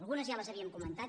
algunes ja les havíem comentat